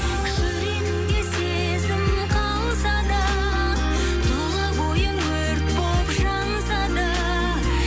жүрегіңде сезім қалса да тұла бойың өрт болып жанса да